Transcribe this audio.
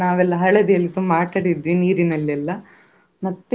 ಆ ಪ್ರಾಣಿಗಳ ಸಂಗ್ರಹಾಲಯ ಬಿಟ್ಟು, ಅಲ್ಲಿ.